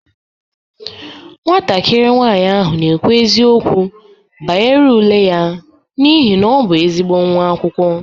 Nwatakịrị nwanyị ahụ na-ekwu eziokwu banyere ule ya n'ihi na ọ bụ ezigbo nwa akwụkwọ.